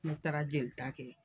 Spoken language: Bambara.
Ne taara jelita kɛ.